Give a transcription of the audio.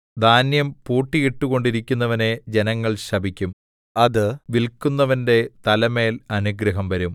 ധാന്യം പൂട്ടിയിട്ടുകൊണ്ടിരിക്കുന്നവനെ ജനങ്ങൾ ശപിക്കും അത് വില്‍ക്കുന്നവന്‍റെ തലമേൽ അനുഗ്രഹം വരും